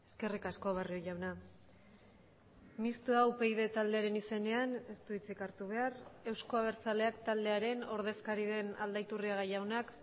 eskerrik asko barrio jauna mistoa upyd taldearen izenean ez du hitzik hartu behar euzko abertzaleak taldearen ordezkari den aldaiturriaga jaunak